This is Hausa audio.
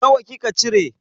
Nawa kika cire?